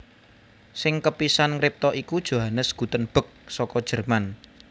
Sing kapisan ngripta iku Johannes Gutenberg saka Jerman